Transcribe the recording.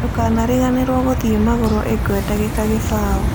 Ndũkarĩganĩrwa gũthĩe magũrũ ĩgwe dagĩka kĩbaũ